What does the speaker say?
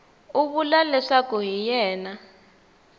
u vula leswaku hi yena